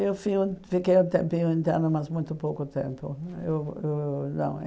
Eu fiquei um tempinho interno, mas muito pouco tempo. Eu eu eu eu não